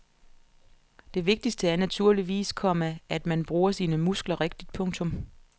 Det vigtigste er naturligvis, komma at man bruger sine muskler rigtigt. punktum